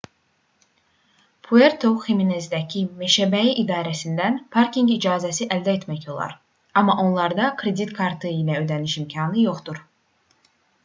puerto ximenezdəki meşəbəyi idarəsindən parkinq icazəsi əldə etmək olar amma onlarda kredit kartı ilə ödəniş imkanı yoxdur